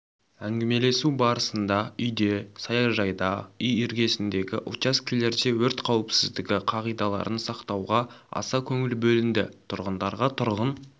әңгімелесу барысында үйде саяжайда үй іргесіндегі учаскелерде өрт қауіпсіздігі қағидаларын сақтауға аса көңіл бөлінді тұрғындарға тұрғын